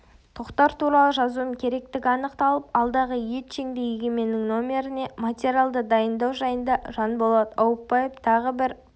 тоқтар туралы жазуым керектігі анықталып алдағы етжеңді егеменнің нөміріне материалды дайындау жайында жанболат аупбаев тағы бір